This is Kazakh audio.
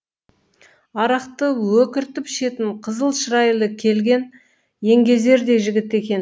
арақты өкіртіп ішетін қызыл шырайлы келген еңгезердей жігіт екен